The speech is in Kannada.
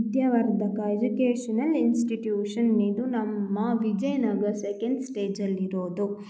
ವಿದ್ಯಾವರ್ಧಕ ಎಜುಕೇಶನಲ್ ಇನ್ಸ್ಟಿಟ್ಯೂಷನ್ ಇದು ನಮ್ಮ ವಿಜಯನಗರ ಸೆಕೆಂಡ್ ಸ್ಟೇಜ್ ಅಲ್ಲಿ ಇರೋದು .